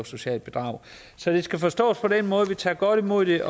socialt bedrageri så det skal forstås på den måde at vi tager godt imod det